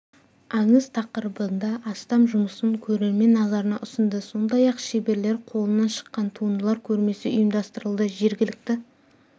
аңыз тақырыбында астам жұмысын көрермен назарына ұсынды сондай-ақ шеберлер қолынан шыққан туындылар көрмесі ұйымдастырылды жергілікті